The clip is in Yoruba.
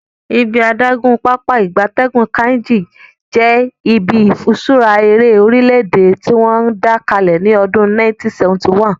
Ibi adagun Pápá ìgbatẹ́gùn Kainji je ibi ifiṣura ere orile-ede tiwon da kale ni odun 1971